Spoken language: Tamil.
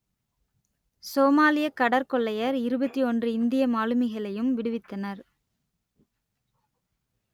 சோமாலியக் கடற்கொள்ளையர் இருபத்தி ஒன்று இந்திய மாலுமிகளையும் விடுவித்தனர்